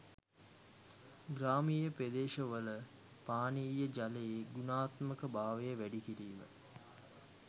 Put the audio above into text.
ග්‍රාමීය ප්‍රදේශවල පානීය ජලයේ ගුණාත්මක භාවය වැඩි කිරීම